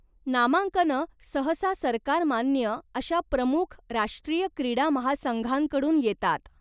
नामांकनं सहसा सरकारमान्य अशा प्रमुख राष्ट्रीय क्रीडा महासंघांकडून येतात.